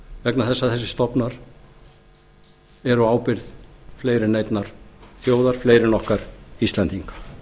vegna þess að þessir stofnar eru á ábyrgð fleiri en einnar þjóðar fleiri en okkar íslendinga